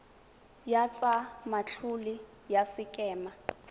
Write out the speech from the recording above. ya tsa matlole ya sekema